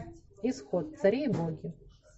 исход цари и боги